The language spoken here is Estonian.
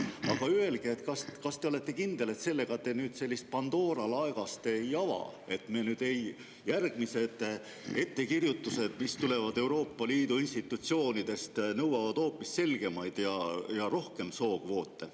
Aga öelge, kas te olete kindel, et te ei ava sellega Pandora laegast, et järgmised ettekirjutused, mis tulevad Euroopa Liidu institutsioonidest, ei nõua selgemaid ja hoopis rohkem sookvoote.